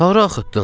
Hara axıtdım?